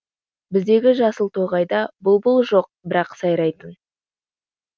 біздегі жасыл тоғайда бұлбұл жоқ бірақ сайрайтын